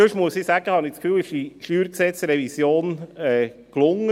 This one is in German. Ich habe das Gefühl, die StG-Revision sei sonst gelungen.